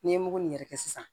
N'i ye mugu in yɛrɛ kɛ sisan